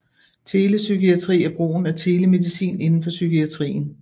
Telepsykiatri er brugen af telemedicin inden for psykiatrien